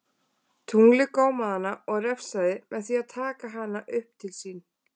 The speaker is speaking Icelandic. Tunglið gómaði hana og refsaði með því að taka hana upp til sín.